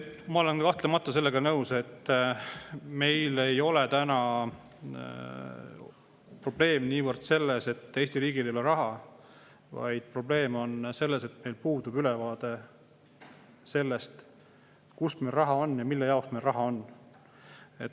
Ma olen kahtlemata sellega nõus, et meil ei ole täna probleem niivõrd selles, et Eesti riigil ei ole raha, vaid probleem on selles, et meil puudub ülevaade sellest, kus meil raha on ja mille jaoks meil raha on.